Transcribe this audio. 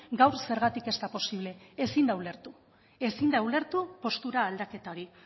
gaur zergatik ez da posible ezin da ulertu ezin da ulertu postura aldaketa hori